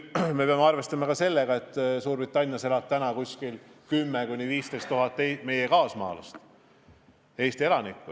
Me peame arvestama ka sellega, et Suurbritannias elab 10 000 – 15 000 meie kaasmaalast, Eesti elanikku.